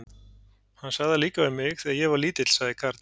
Hann sagði það líka við mig, þegar ég var lítill sagði Karl.